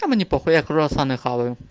а мне по хуй я круассаны хаваю